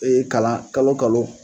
E ye kalan kalo kalo